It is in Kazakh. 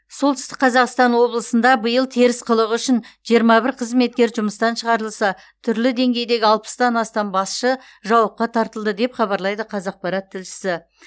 солтүстік қазақстан облысында биыл теріс қылығы үшін жиырма бір қызметкер жұмыстан шығарылса түрлі деңгейдегі алпыстан астам басшы жауапқа тартылды деп хабарлайды қазақпарат тілшісі